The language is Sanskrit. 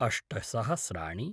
अष्ट सहस्राणि